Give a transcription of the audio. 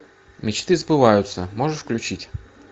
мечты сбываются можешь включить